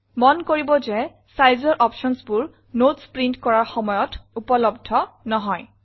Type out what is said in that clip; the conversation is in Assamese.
মন কৰিব যে Sizeৰ optionsবোৰ নোটছ প্ৰিণ্ট কৰাৰ সময়ত উপলব্ধ নহয়